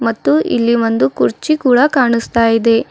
ಮತ್ತು ಇಲ್ಲಿ ಒಂದು ಕುರ್ಚಿ ಕೂಡ ಕಾಣಿಸ್ತಾ ಇದೆ.